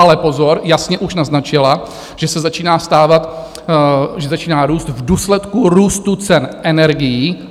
Ale pozor, jasně už naznačila, že se začíná stávat, že začíná růst v důsledku růstu cen energií.